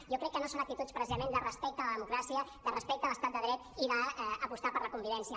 jo crec que no són actituds precisament de respecte a la democràcia de respecte a l’estat de dret i d’apostar per la convivència